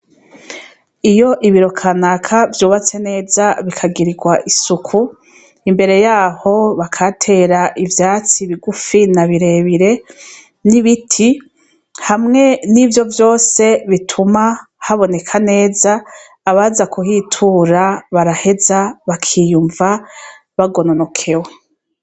Iyo ibirokanaka vyubatse neza bikagirirwa isuku imbere yaho bakatera ivyatsi bigufi nabirebire n'ibiti hamwe n'ivyo vyose bituma haboneka neza abaza kuhitura baraheza bakiyumva bagononokewo.